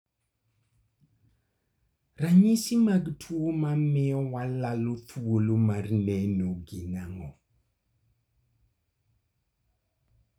Ranyisi mag tuo mamio walalo thuolo mar neno gin ang'o?